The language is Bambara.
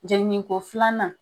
Jelini ko filanan.